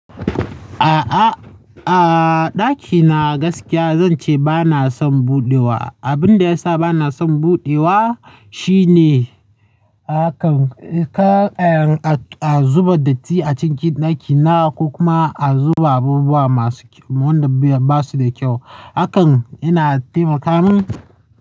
A'a, a'a, ɗakina gaskiya zan ce ba na son buɗewa. Abin da ya sa ba na son buɗewa shine hakan, kar an zuba datti a cikin ɗakina ko kuma a zuba abubuwa masu, wanda ba su da kyau. Hakan yana taimaka min.